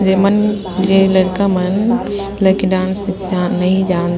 जे मन जे लड़का मन ले के डांस क न नहीं जान--